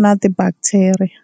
na tibhaktheriya.